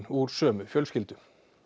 úr sömu fjölskyldu